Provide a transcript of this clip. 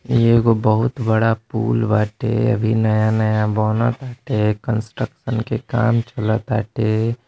एगो बहुत बड़ा पूल बाटे अभी नया-नया बना ताटे कंस्ट्रक्शन के काम चला ताटे।